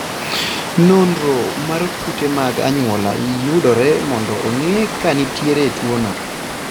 Nonro mar kute mag anyuola yudore mondo ong'e ka nitie tuwono.